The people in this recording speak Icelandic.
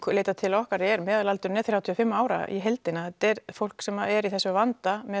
leita til okkar meðalaldurinn er þrjátíu og fimm ára í heildina þetta er fólk sem er í þessum vanda með